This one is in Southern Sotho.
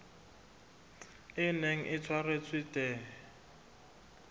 e neng e tshwaretswe the